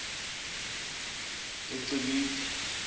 ecibithe